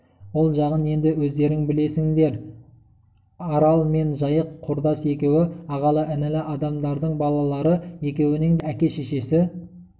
ол жағын енді өздерің білерсіңдер арал мен жайық құрдас екеуі ағалы-інілі адамдардың балалары екеуінің де әке-шешесі